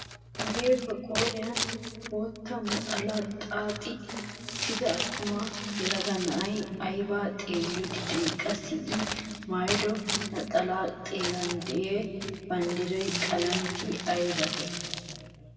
Hagee ba qooriyaan bootta naxalaa xaaxi uttida attuma yelaga na'ay aybaa xeelliidi de'ii? qassi i maayido naxalaa xeran de'iyaa banddiraa qalameti ayabatee?